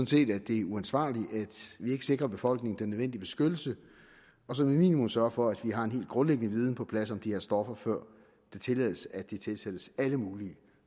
set at det er uansvarligt at vi ikke sikrer befolkningen den nødvendige beskyttelse og som et minimum sørger for at vi har en helt grundlæggende viden på plads om de her stoffer før det tillades at de tilsættes alle mulige